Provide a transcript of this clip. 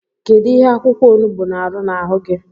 Kedu ihe akwụkwọonugbu na-arụ n’ahụ gi?